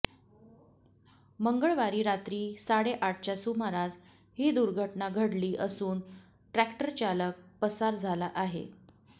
मंगळवारी रात्री साडेआठच्या सुमारास ही दुर्घटना घडली असून ट्रक्टरचालक पसार झाला आहे